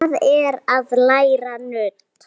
Það er að læra nudd.